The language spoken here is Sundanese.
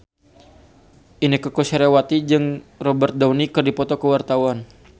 Inneke Koesherawati jeung Robert Downey keur dipoto ku wartawan